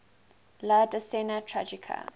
la decena tragica